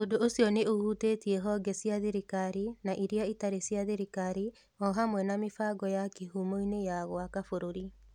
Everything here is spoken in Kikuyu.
Ũndũ ũcio nĩ ũhutĩtie honge cia thirikari na iria itarĩ cia thirikari, o hamwe na mĩbango ya ya kīhumo-inĩ ya gwaka bũrũri.